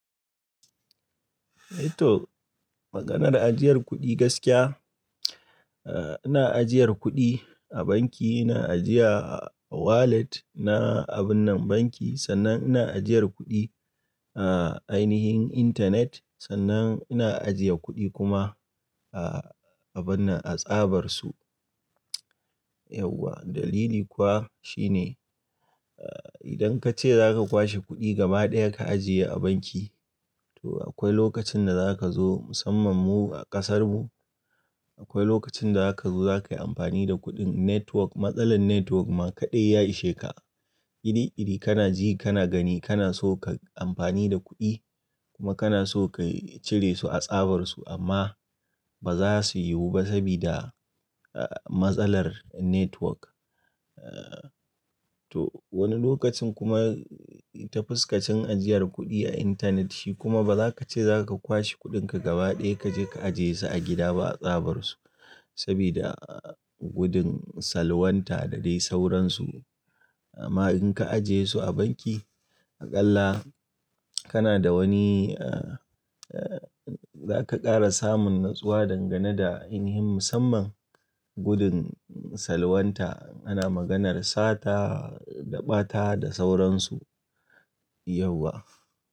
Mai to, maganar ajiyar kuɗi gaskiya, eh ina ajiyar kuɗi a banki, ina ajiya a wallet na abun na banki sannan ina ajiyar kuɗi a ainihin Internet sannan ina ajiye kuɗi kuma a abun nan a tsabar su. Yauwa dalili kuwa shine, eh idan ka ce za ka kwashe kuɗi gaba ɗaya ka ajiye a banki to akwai lokacin da za ka zo musamman mu a ƙasar mu, akwai lokacin da za ka zo za ka yi amfani da kuɗin network matsalar network ma kaɗai ya ishe ka. Kiri kiri kana ji kana gani kana so ka yi amfani da kuɗi kuma kana so ka cire su a tsabar su amma ba za su yiwu ba sabida matsalar network. Eh to wani lokacin kuma ta fuskacin ajiyar kuɗi a Internet shi kuma ba za ka ce za ka kwashe kuɗinka gaba ɗaya ka je ka ajiye su a gida ba a tsabar su sabida gudun salwanta da dai sauransu. Amma in ka ajiye su a banki aƙalla kana da wani eh eh za ka ƙara samun natsuwa dangane da in him musamman gudun salwanta ana maganar sata da ɓata da sauransu yauwa.